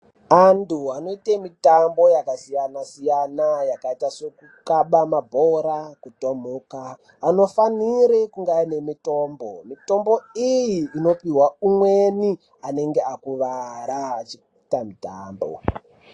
Antu anoite mutambo yakasiyana siyana yakaite sekukaba mabhora kutomuka anofanire kunge ane mutombo ,mutombo iyi inopuhwa umweni anenge akuvara achiita mutambo